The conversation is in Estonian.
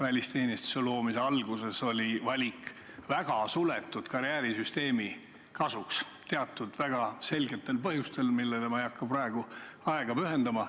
Välisteenistuse loomise alguses tehti valik väga suletud karjäärisüsteemi kasuks teatud väga selgetel põhjustel, millele ma ei hakka praegu aega pühendama.